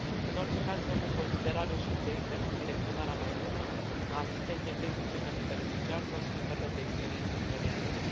În orice caz, luăm în considerare și idei precum direcționarea mai bună a asistenței tehnice pentru beneficiari sau schimburile de experiență între regiuni.